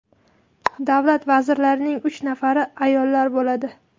Davlat vazirlarining uch nafari ayollar bo‘ladi.